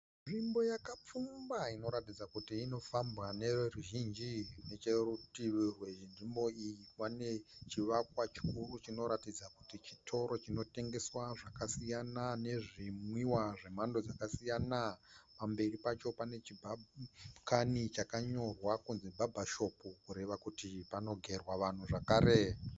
Nzvimbo yakapfumba inoratidza kuti inofambwa neveruzhinji. Nechekurutivi rwenzvimbo iyi pane chivakwa chikuru chinoratidza kuti chitoro chinotengeswa zvakasiyana nezvinwiwa zvemhando dzakasiyana. Pamberi pacho pane chibhakani chakanyorwa kunzi Barber Shop kureva kuti panogerwa vanhu zvakare.